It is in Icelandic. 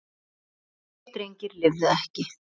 Tveir drengir lifðu ekki.